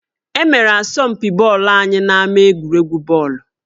E mere asọmpi bọọlụ anyị n'ama egwuregwu bọọlụ